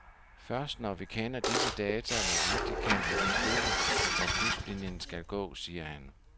Først når vi kender disse data nøjagtigt, kan vi beslutte, hvor kystlinjen skal gå, siger han.